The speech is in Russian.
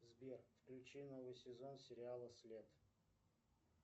сбер включи новый сезон сериала след